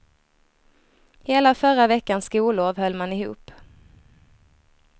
Hela förra veckans skollov höll man ihop.